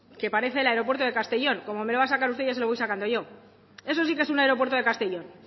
que parece el aeropuerto de castellón como me lo va a sacar usted ya se lo voy sacando yo eso sí que es un aeropuerto de castellón